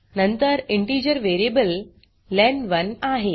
नंतर integer variable लेन1 आहे